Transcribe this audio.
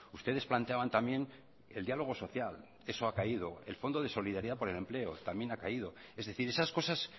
ustedes planteaban también el diálogo social eso ha caído el fondo de solidaridad por el empleo también ha caído es decir esas cosas